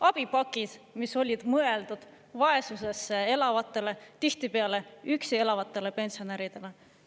Abipakid, mis olid mõeldud vaesuses elavatele, tihtipeale üksi elavatele pensionäridele.